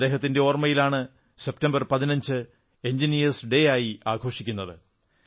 അദ്ദേഹത്തിന്റെ ഓർമ്മയിലാണ് September 15 engineers ദിനം ആയി ആഘോഷിക്കുന്നത്